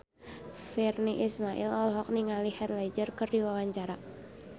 Virnie Ismail olohok ningali Heath Ledger keur diwawancara